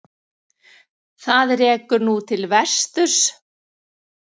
Það rekur nú til vesturs.